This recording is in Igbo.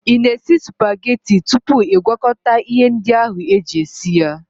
Ị na-esi supageti tupu ị gwakọta ihe ndị ahụ eji esi ya?